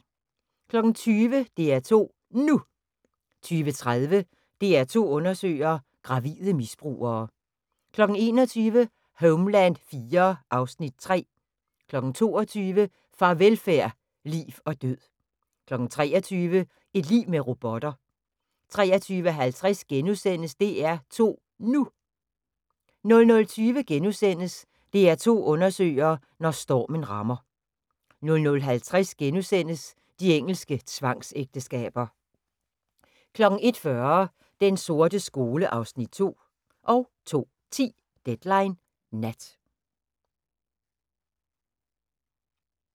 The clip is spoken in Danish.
20:00: DR2 NU 20:30: DR2 Undersøger: Gravide misbrugere 21:00: Homeland IV (Afs. 3) 22:00: Farvelfærd: Liv og Død 23:00: Et liv med robotter 23:50: DR2 NU * 00:20: DR2 undersøger: Når stormen rammer * 00:50: De engelske tvangsægteskaber * 01:40: Den sorte skole (Afs. 2) 02:10: Deadline Nat